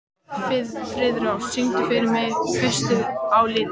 Friðrós, syngdu fyrir mig „Haustið á liti“.